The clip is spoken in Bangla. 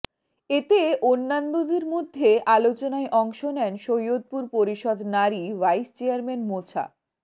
এতে অন্যান্যদের মধ্যে আলোচনায় অংশ নেন সৈয়দপুর পরিষদ নারী ভাইস চেয়ারম্যান মোছা